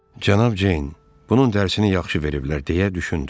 Cənab Ceyn: Bunun dərsini yaxşı veriblər, deyə düşündü.